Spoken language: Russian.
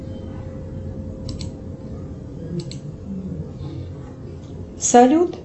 салют